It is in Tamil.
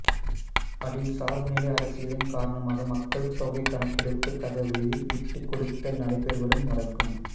அதில் சார்புநிலை அரசியலின் காரணமாக மக்கள்தொகைக் கணக்கெடுப்புத் தகவலில் விட்டுக் கொடுத்தல் நடைபெறுவதும் அடங்கும்